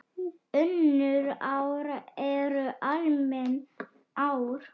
Önnur ár eru almenn ár.